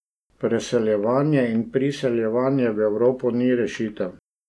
Preseljevanje in priseljevanje v Evropo ni rešitev.